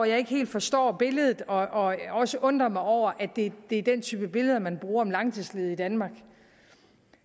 jeg ikke helt forstår billedet og også undrer mig over at det er den type billeder man bruger en langtidsledige i danmark